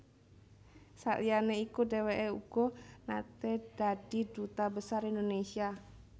Saliyané iku dhèwèké uga naté dadi Duta Besar Indonesia